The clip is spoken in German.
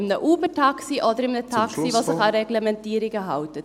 in einem Uber-Taxi oder in einem Taxi, das sich an Reglementierungen hält?